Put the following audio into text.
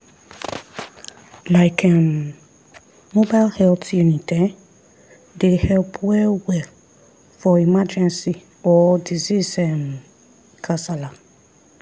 like um mobile health unit[um]dey help well-well for emergency or disease um kasala.